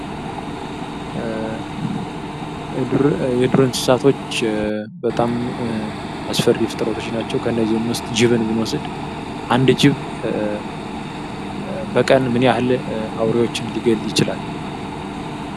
የዱር እንስሳቶች በጣም አስፈሪ ፍጥረቶች ናቸው ከእነዚህ ውስጥ ጅብን ብንወስድ አንድ ጅብ በቀን ምን ያህል አውሬዎችን ሊገል ይችላል?